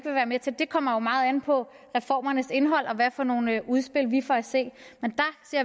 vil være med til det kommer jo meget an på reformernes indhold og hvad for nogle udspil vi får at se men